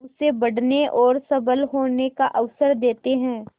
उसे बढ़ने और सबल होने का अवसर देते हैं